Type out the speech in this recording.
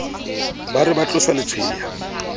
ba re ba tlosa letshweya